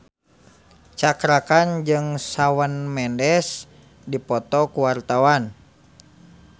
Cakra Khan jeung Shawn Mendes keur dipoto ku wartawan